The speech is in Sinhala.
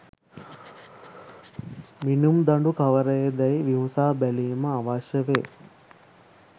මිණුම් දඬු කවරේදැයි විමසා බැලීම අවශ්‍ය වේ.